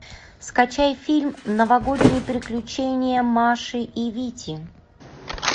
скачай фильм новогодние приключения маши и вити